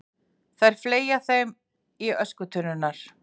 Þær fleygja þeim í öskutunnurnar.